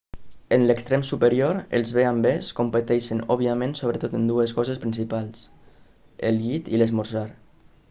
en l'extrem superior els b&bs competeixen òbviament sobretot en dues coses principals el llit i l'esmorzar